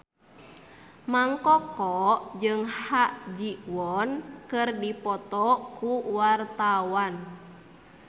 Mang Koko jeung Ha Ji Won keur dipoto ku wartawan